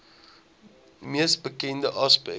mees bekende aspek